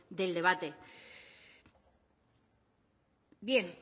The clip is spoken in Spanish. del debate bien